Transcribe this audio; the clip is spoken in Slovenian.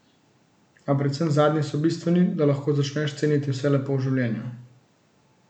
A predvsem zadnji so bistveni, da lahko začneš ceniti vse lepo v življenju.